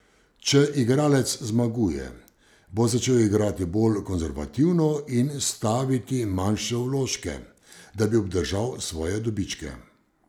Če igralec zmaguje, bo začel igrati bolj konservativno in staviti manjše vložke, da bi obdržal svoje dobičke.